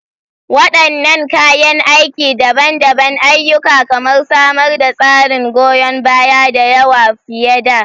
Wadannan kayan aiki daban-daban ayyuka kamar samar da tsarin goyon baya, da yawa fiye da.